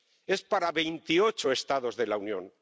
Es para veintiocho Estados de la Unión.